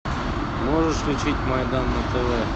можешь включить майдан на тв